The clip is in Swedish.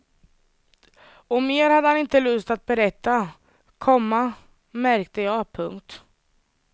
Och mer hade han inte lust att berätta, komma märkte jag. punkt